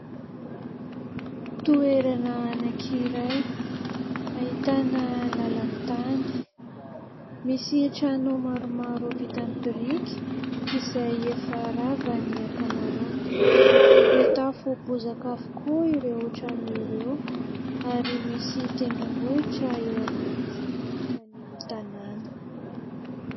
Toerana anankiray ahitana làlan-tany. Misy trano maromaro vita amin'ny biriky izay efa rava ny ankamaroany. Mitafo bozaka avokoa ireo trano ireo ary misy tendrombohitra eo akaiky tsy lavitry ny tanàna.